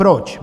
Proč?